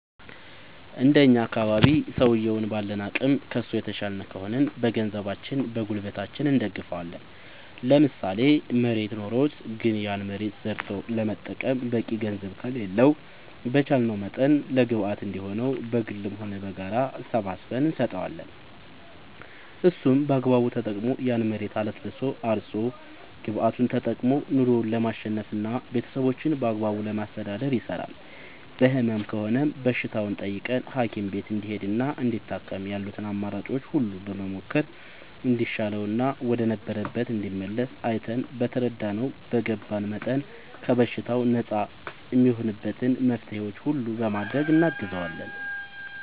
እንደኛ አካባቢ ሠውየዉን ባለን አቅም ከሡ የተሻልን ከሆንን በገንዘባችን በጉልበታችን እንደግፈዋለን ለምሳሌ መሬት ኖሮት ግን ያን መሬት ዘርቶ ለመጠቀም በቂ ገንዘብ ከሌለው በቻለንው መጠን ለግብአት እንዲሆነው በግልም ሆነ በጋራ ሰባስበን እንሰጠዋለን እሱም በአግባቡ ተጠቅሞ ያን መሬት አለስልሶ አርሶ ግብዓቱን ተጠቅሞ ኑሮው ለማሸነፍና ቤተሠቦቹን በአግባቡ ለማስተዳደር ይሰራል በህመም ከሆነም በሽታውን ጠይቀን ሀኪም ቤት እንዲሄድና እንዲታከም ያሉትን አማራጮች ሁሉ በመሞከር እንዲሻለውና ወደ ነበረበት እንዲመለስ አይተን በተረዳነው በገባን መጠን ከበሽታው ነፃ እሚሆንበትን መፍትሔዎች ሁሉ በማድረግ እናግዘዋለን